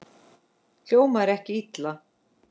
Hljómar ekki illa.